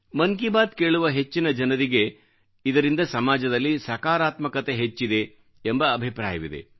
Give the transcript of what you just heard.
ಮನ್ ಕಿ ಬಾತ್ ಕೇಳುವ ಹೆಚ್ಚಿನ ಜನರಿಗೆ ಇದರಿಂದ ಸಮಾಜದಲ್ಲಿ ಸಕಾರಾತ್ಮಕತೆ ಹೆಚ್ಚಿದೆ ಎಂಬ ಅಭಿಪ್ರಾಯವಿದೆ